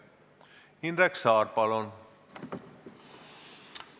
Indrek Saar, palun!